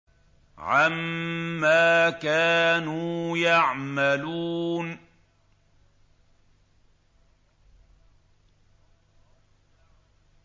عَمَّا كَانُوا يَعْمَلُونَ